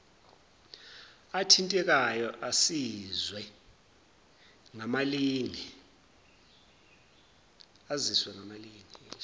athintekayo aziswe ngamalinge